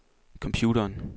computeren